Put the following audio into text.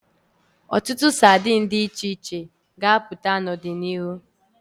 Ọtụtụ ụdị sadini ga-apụta n'ọdịnihu.